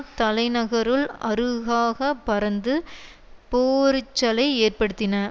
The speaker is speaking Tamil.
தலைநகருள் அருகாக பறந்து போரிச்சலை ஏற்படுத்தின